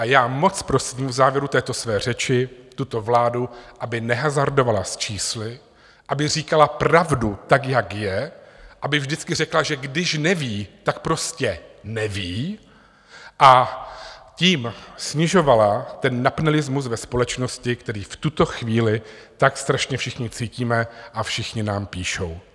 A já moc prosím v závěru této své řeči tuto vládu, aby nehazardovala s čísly, aby říkala pravdu, tak jak je, aby vždy řekla, že když neví, tak prostě neví, a tím snižovala ten napnelismus ve společnosti, který v tuto chvíli tak strašně všichni cítíme, a všichni nám píšou.